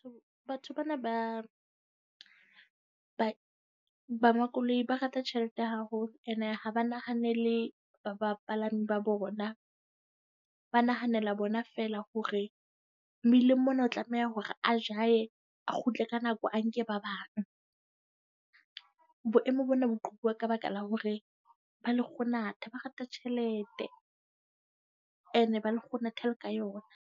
Batho bana ba bang ba makoloi ba rata tjhelete ya haholo. Ene ha ba nahanele ba bapalami ba bona. Ba nahanela bona fela hore mmileng mona o tlameha hore a jahe, a kgutle ka nako, a nke ba bang. Boemo bona botlhokwa ka baka la hore ba lekgonatha, ba rata tjhelete. Ene ba lekgonatha le ka yona.